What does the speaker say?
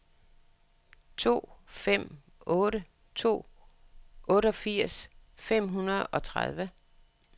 to fem otte to otteogfirs fem hundrede og tredive